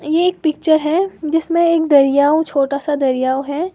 ये एक पिक्चर है जिसमें एक दरियाऊ छोटा सा दरियाव है।